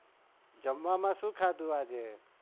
જમવામાં શૂ ખાધુ આજે?